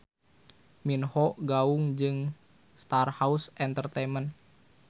Min Ho gaung jeung Starhaus Entertainment.